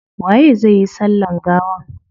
Waye zai yi sallan gawan?